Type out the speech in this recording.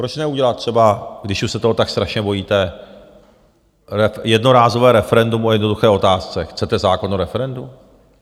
Proč neudělat třeba, když už se toho tak strašně bojíte, jednorázové referendum o jednoduché otázce: Chcete zákon o referendu?